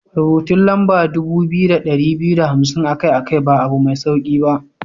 Rubutun lamba dubu biyu da dari biyu da hamsin akai-akai ba abu mai sauki ba.